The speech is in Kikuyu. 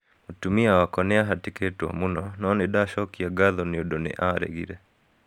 Mũtumia wakwa nĩ aahatĩkĩtwo mũno, no nĩ ndacokagia ngatho nĩ ũndũ nĩ aaregire.'